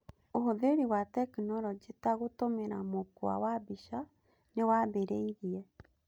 ũhũthĩri wa tekinorojĩ ta gũtũmĩra mũkwa wa mbica nĩwambĩrĩirie.